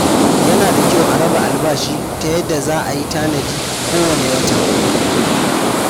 Yana da kyau a raba albashi ta yadda za a tanadi kowane wata.